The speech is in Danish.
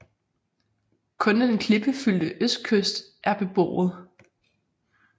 Kun den klippefyldte østkyst er beboet